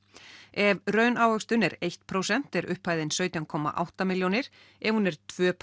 ef raunávöxtun er eitt prósent er upphæðin sautján komma átta milljónir ef hún er tveimur